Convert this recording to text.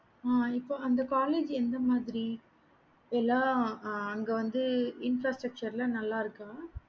ஆஹ் இப்போ அந்த college எந்த மாதிரி எல்லா அங்க வந்து infrastructure லாம் நல்ல இருக்க